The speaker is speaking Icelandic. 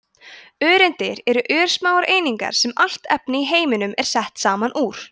öreindir eru örsmáar einingar sem allt efni í heiminum er sett saman úr